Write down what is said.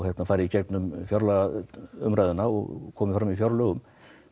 fari í gegnum fjárlagaumræðuna og komi fram í fjárlögum